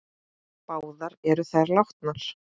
Báðar eru þær látnar.